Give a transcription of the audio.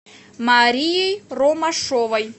марией ромашовой